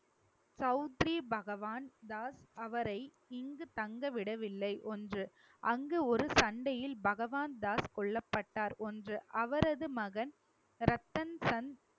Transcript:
சவுத்ரி பகவான் தாஸ் அவரை இங்கு தங்க விடவில்லை ஒன்று அங்கு ஒரு சண்டையில் பகவான் தாஸ் கொல்லப்பட்டார் ஒன்று அவரது மகன் ரத்தன் சன்